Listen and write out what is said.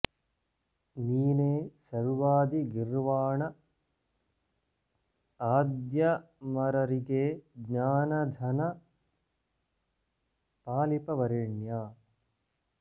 नीने सर्वादि गिर्वाण आद्यमररिगे ज्ञान धन पालिप वरेण्या